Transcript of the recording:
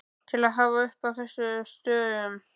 til að hafa uppi á þessum stöðum.